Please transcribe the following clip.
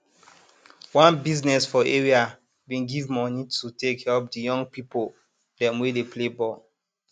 one biznes for area bin give moni to take help the young pipo dem wey dey play ball